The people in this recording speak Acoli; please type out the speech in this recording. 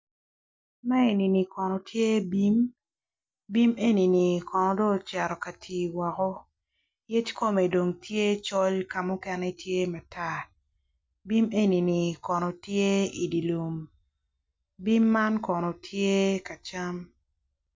Ma eni kono tye bim bim enini kono dong ocito ki tii yec kume dong tye col ka mukene tye matar bim eni kono tye i di lum bim man kono tye ka cam